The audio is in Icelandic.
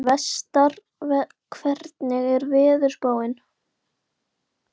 Vestar, hvernig er veðurspáin?